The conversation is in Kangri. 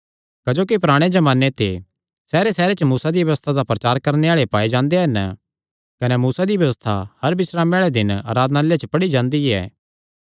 क्जोकि पराणे जमाने ते सैहरेसैहरे च मूसा दी व्यबस्था दा प्रचार करणे आल़े पाये जांदे हन कने मूसा दी व्यबस्था हर बिस्रामे आल़े दिन आराधनालय च पढ़ी जांदी ऐ